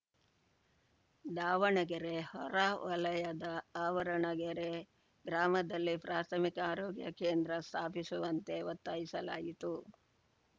ದಾವಣಗೆರೆ ಹೊರವಲಯದ ಆವರಣಗೆರೆ ಗ್ರಾಮದಲ್ಲಿ ಪ್ರಾಥಮಿಕ ಆರೋಗ್ಯ ಕೇಂದ್ರ ಸ್ಥಾಪಿಸುವಂತೆ ಒತ್ತಾಯಿಸಲಾಯಿತು